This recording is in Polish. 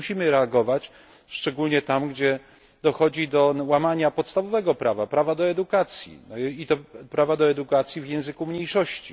Musimy reagować, szczególnie tam, gdzie dochodzi do łamania podstawowego prawa prawa do edukacji i to prawa do edukacji w języku mniejszości.